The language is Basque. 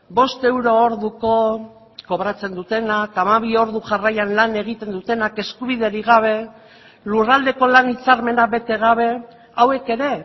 bost euro orduko kobratzen dutenak hamabi ordu jarraian lan egiten dutenak eskubiderik gabe lurraldeko lan hitzarmena bete gabe hauek ere